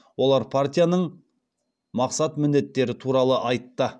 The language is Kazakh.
олар партияның мақсат міндетері туралы айтты